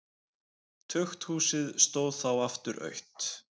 Tukthúsið stóð þá aftur autt.